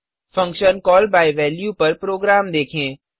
function call by value पर program देखें